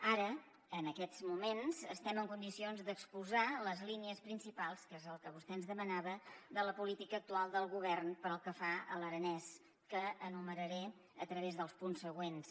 ara en aquests moments estem en condicions d’exposar les línies principals que és el que vostè ens demanava de la política actual del govern pel que fa a l’aranès que enumeraré a través dels punts següents